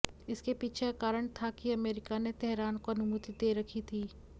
इसके पीछे का कारण था कि अमेरिका ने तेहरान को अनुमति दे रखी थी